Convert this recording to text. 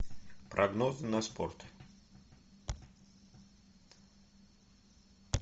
прогнозы на спорт